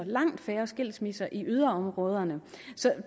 langt færre skilsmisser i yderområderne så